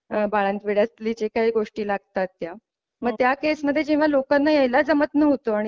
बाळंतविड्यातल्या ज्या काही गोष्टी लागतात त्या मग त्या केस मध्ये लोकांना यायला जमतं नव्हतं, आणि